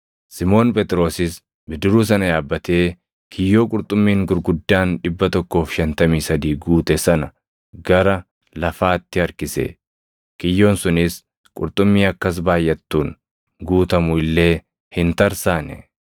Simoon Phexrosis bidiruu sana yaabbatee kiyyoo qurxummiin gurguddaan 153 guute sana gara lafaatti harkise. Kiyyoon sunis qurxummii akkas baayʼattuun guutamu illee hin tarsaane.